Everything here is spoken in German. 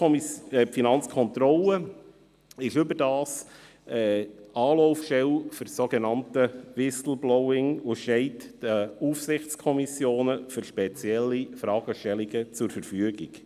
Die Finanzkontrolle ist überdies Anlaufstelle für das sogenannte Whistleblowing und steht den Aufsichtskommissionen für spezielle Fragestellungen zur Verfügung.